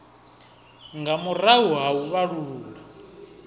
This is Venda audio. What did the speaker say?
nga murahu ha u vhalulula